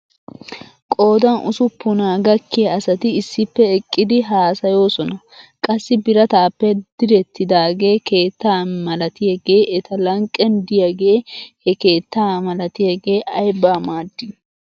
Qoodan ussuppunaa gakkiyaa asati issippe eqqidi haasayoosona. Qassi birataappe direttidaagee keetta malatiyaagee eta lanqqen de'iyaagee he keetta malatiyaagee aybaa maadii